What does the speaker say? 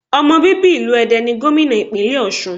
Ọmọ bíbí ìlú Ede ni Gómìnà ìpínlẹ̀ Òsun